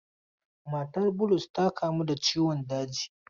Matar Bulus ta kamu da ciwon daji.